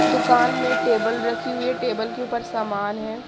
दुकान में टेबल रखी हुई है टेबल के ऊपर सामान हैं।